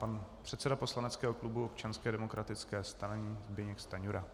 Pan předseda poslaneckého klubu Občanské demokratické strany Zbyněk Stanjura.